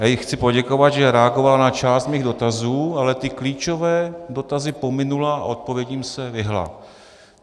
Já jí chci poděkovat, že reagovala na část mých dotazů, ale ty klíčové dotazy pominula a odpovědím se vyhnula.